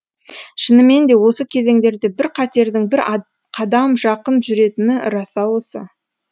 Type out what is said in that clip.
шынымен де осы кезеңдерде бір қатердің бір қадам жақын жүретіні рас ау осы